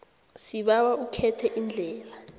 sibawa ukhethe iindlela